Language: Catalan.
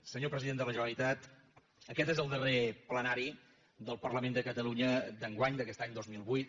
senyor president de la generalitat aquest és el darrer plenari del parlament de catalunya d’enguany d’aquest any dos mil vuit